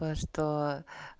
во что